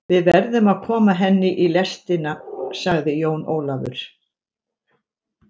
Við verðum að koma henni í lestina, sagði Jón Ólafur.